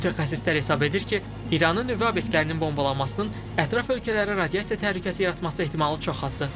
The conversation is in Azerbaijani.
Mütəxəssislər hesab edir ki, İranın nüvə obyektlərinin bombalanmasının ətraf ölkələrə radiasiya təhlükəsi yaratması ehtimalı çox azdır.